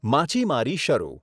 માછીમારી શરૂ